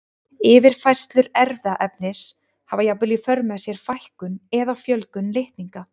Yfirfærslur erfðaefnis hafa jafnvel í för með sér fækkun eða fjölgun litninga.